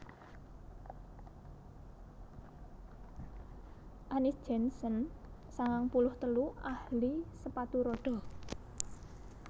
Annis Jensen sangang puluh telu ahli sepatu rodha